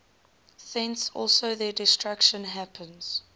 thence also their destruction happens